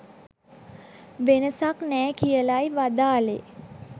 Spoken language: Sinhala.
වෙනසක් නෑ කියලයි වදාළේ